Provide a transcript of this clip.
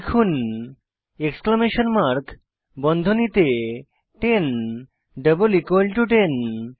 লিখুন exclamation mark বন্ধনীতে 10 double equal to 10